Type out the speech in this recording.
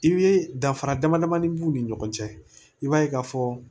I bɛ danfara damadamanin b'u ni ɲɔgɔn cɛ i b'a ye k'a fɔ